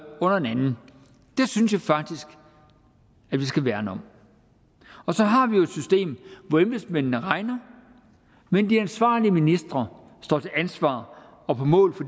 under den anden det synes jeg faktisk vi skal værne om og så har vi jo et system hvor embedsmændene regner men de ansvarlige ministre står til ansvar og på mål for